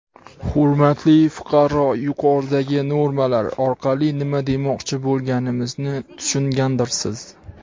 Hurmatli fuqaro yuqoridagi normalar orqali nima demoqchi bo‘lganimizni tushungandirsiz?!.